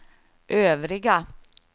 övriga